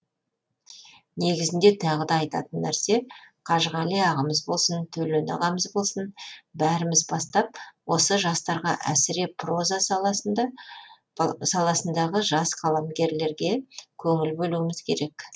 негізінде тағы да айтатын нәрсе қажығали ағамыз болсын төлен ағамыз болсын бәріміз бастап осы жастарға әсіре проза саласындағы жас қаламгерлерге көңіл бөлуіміз керек